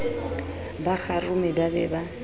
ba kgarume ba be ba